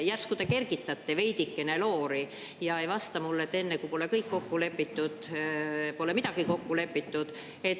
Järsku te kergitate veidikene loori ja ei vasta mulle, et enne kui pole kõik kokku lepitud, pole midagi kokku lepitud.